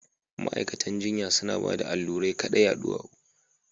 Ma’aikatan jinya suna bada allurai kaɗai a duwawu